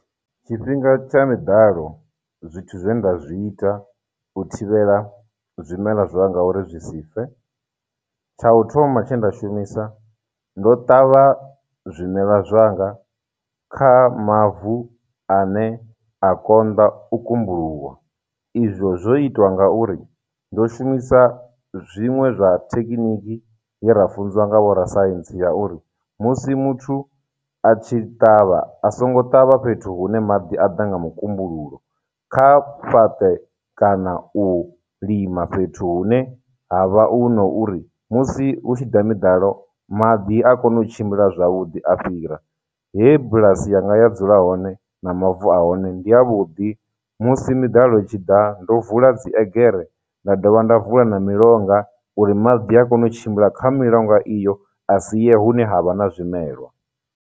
Tshifhinga tsha miḓalo, zwithu zwe nda zwi ita u thivhela zwimela zwanga uri zwi si fe. Tsha u thoma tshe nda shumisa, ndo ṱavha zwimelwa zwanga kha mavu ane a konḓa u kumbuluwa, izwo zwo itwa ngauri ndo shumisa zwiṅwe zwa thekinikiye ra funziwa nga vho ra science ya uri, musi muthu a tshi ṱavha, a songo ṱavha fhethu hune maḓi a ḓa nga mukumbululo, kha fhaṱe kana u lima fhethu hune ha vha hu no uri, musi hu tshi ḓa miḓalo maḓi a kona u tshimbila zwavhuḓi a fhira. He bulasi yanga ya dzula hone, na mavu a hone, ndi avhuḓi. Musi miḓalo i tshi ḓa, ndo vula dziegere, nda dovha nda vula na milonga uri maḓi a kone u tshimbila kha milonga iyo, a si ye hune ha vha na zwimelwa.